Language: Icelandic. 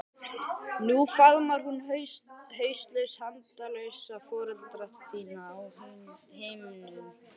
Nú faðmar hún hauslaus handalausa foreldra þína á himnum.